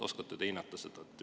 Oskate te seda hinnata?